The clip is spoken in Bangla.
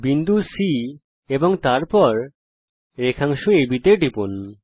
বিন্দু C এবং তারপর রেখাংশ আব টিপুন